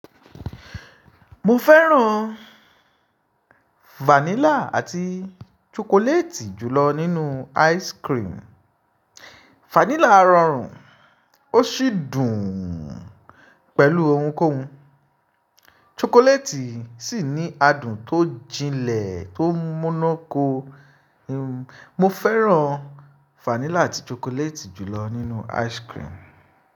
Mo fẹ́ràn vanilla àti chocolate jùlọ nínú ice cream. Vanilla rọrùn ó sì dùn pẹ̀lú ounkóun. Chocolate sì ní adùn tó jinlẹ̀ tó múnu ko. Mo fẹ́ràn vanilla àti chocolate jùlọ nínú ice cream.